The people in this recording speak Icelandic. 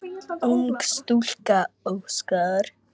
Ung stúlka óskar.